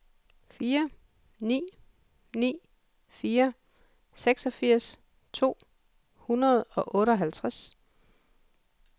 fire ni ni fire seksogfirs to hundrede og otteoghalvtreds